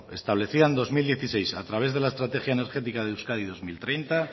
establecida en dos mil dieciséis a través de la estrategia energética de euskadi dos mil treinta